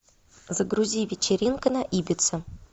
загрузи вечеринка на ибице